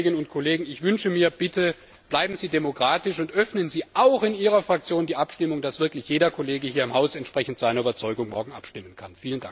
Liebe Kolleginnen und Kollegen, ich wünsche mir, bitte bleiben Sie demokratisch und öffnen Sie auch in Ihrer Fraktion die Abstimmung, damit wirklich jeder Kollege hier im Haus morgen entsprechend seiner Überzeugung abstimmen kann!